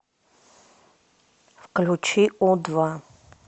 включи у два